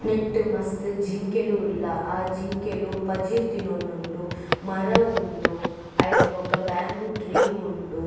ನೆಟ್ಟ್ ಮಸ್ತ್ ಜಿಂಕೆಲ್ ಉಲ್ಲ ಆ ಜಿಂಕೆಲ್ ಪಜಿರ್ ತಿನೊಂದುಂಡು ಮರ ಉಂಡು ಅವೆಡ್ ಬೊಕ ಬೇಂಬೂ ಟ್ರೀ ಉಂಡು.